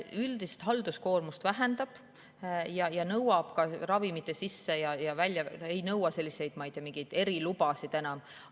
Üldist halduskoormust see vähendab ja ei nõuta, ma ei tea, mingeid erilubasid enam.